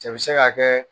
Cɛ bi se ka kɛ